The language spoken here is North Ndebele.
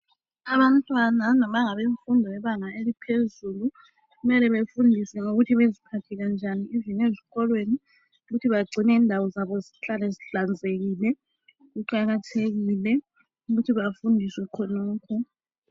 abantwana noma ngabefundo lebanga eliphezulu kumele befundiswe ukuthi beziphathe njani ivini ezikolwei ukuthi bacine indawo zabo zihlale zihlanzekile kuqhakathekile ukuthi bafundiswe khonokho